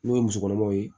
N'o ye musokɔnɔmaw ye